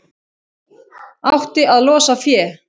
Átti að losa fé